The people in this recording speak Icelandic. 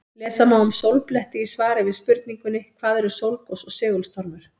Lesa má um sólbletti í svari við spurningunni Hvað eru sólgos og segulstormur?